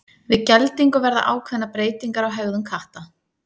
Við geldingu verða ákveðnar breytingar á hegðun katta.